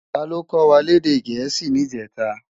Táló kòwá lèdè èdè Gẹẹsi nijètá?